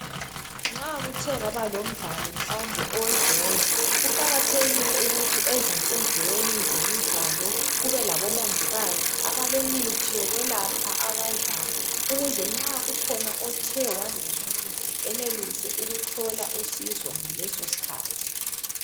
Nxa kuthe kwaba lomdlalo mhlawumbe owebhola, kuqakathekile ukuthi ezinkundleni zemidlalo kube labomongikazi abalemithi yokwelapha abadlali ukuze nxa kukhona othe wangezwa kuhle enelise ukuthola usizo ngalesoskthathi.